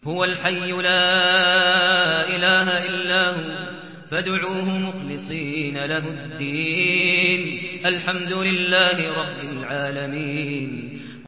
هُوَ الْحَيُّ لَا إِلَٰهَ إِلَّا هُوَ فَادْعُوهُ مُخْلِصِينَ لَهُ الدِّينَ ۗ الْحَمْدُ لِلَّهِ رَبِّ الْعَالَمِينَ